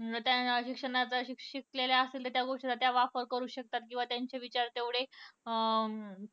त्या शिक्षणाचा शिकलेल्या असून त्या गोष्टीचा वापर करू शकतात किंवा त्यांचं विचार तेवढेअं